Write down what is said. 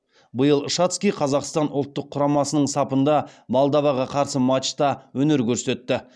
биыл шацкий қазақстан ұлттық құрамасының сапында молдоваға қарсы матчта өнер көрсетті